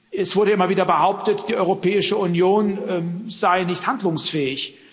Es wurde immer wieder behauptet, die Europäische Union sei nicht handlungsfähig.